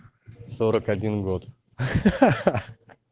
сорок один год ха-ха